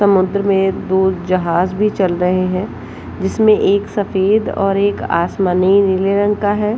समुद्र में दो जाहाज भी चल रहे है जिसमें एक सफ़ेद और एक आसमानी नीले रंग का है।